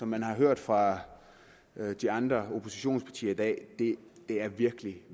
man har hørt fra de andre oppositionspartier i dag virkelig